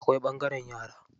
Akwai ɓangaren yara.